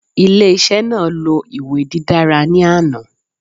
Ile-iṣẹ naa lo iwe didara ni ana